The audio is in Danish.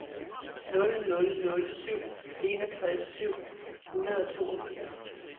nul nul nul syv enogtres syv hundrede og toogfirs